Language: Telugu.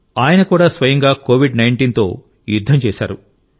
ఆయన కూడా స్వయంగా కోవిడ్19 తో యుద్ధం చేశారు